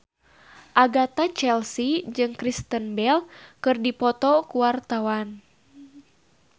Agatha Chelsea jeung Kristen Bell keur dipoto ku wartawan